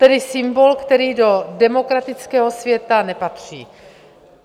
Tedy symbol, který do demokratického světa nepatří.